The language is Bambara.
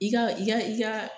I ka i ka i ka